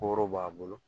Kooro b'a bolo